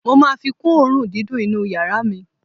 Mo máa fi kún òórùn dídùn inú yàrá mi.